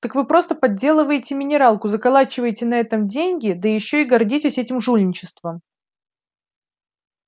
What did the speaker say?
так вы просто подделываете минералку заколачиваете на этом деньги да ещё и гордитесь этим жульничеством